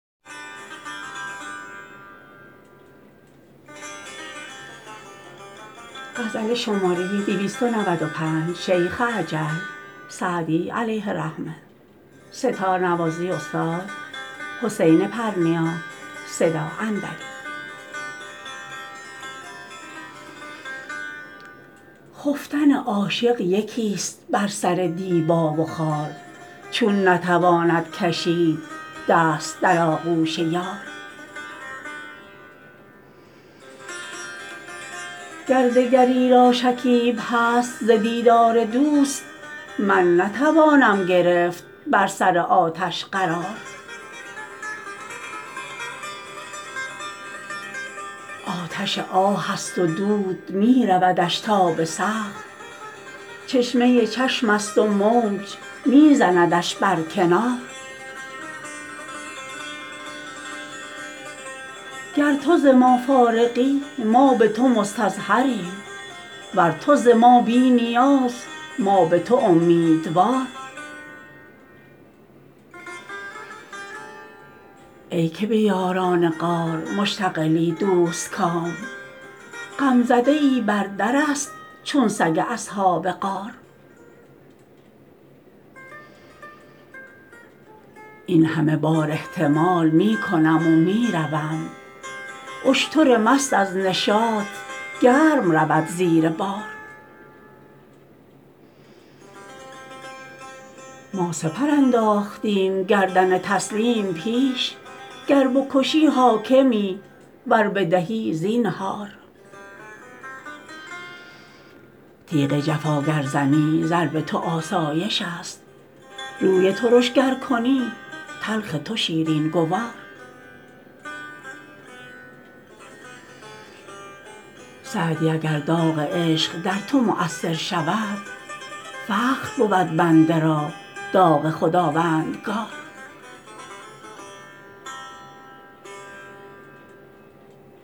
خفتن عاشق یکیست بر سر دیبا و خار چون نتواند کشید دست در آغوش یار گر دگری را شکیب هست ز دیدار دوست من نتوانم گرفت بر سر آتش قرار آتش آه است و دود می رودش تا به سقف چشمه چشمست و موج می زندش بر کنار گر تو ز ما فارغی ما به تو مستظهریم ور تو ز ما بی نیاز ما به تو امیدوار ای که به یاران غار مشتغلی دوستکام غمزده ای بر درست چون سگ اصحاب غار این همه بار احتمال می کنم و می روم اشتر مست از نشاط گرم رود زیر بار ما سپر انداختیم گردن تسلیم پیش گر بکشی حاکمی ور بدهی زینهار تیغ جفا گر زنی ضرب تو آسایشست روی ترش گر کنی تلخ تو شیرین گوار سعدی اگر داغ عشق در تو مؤثر شود فخر بود بنده را داغ خداوندگار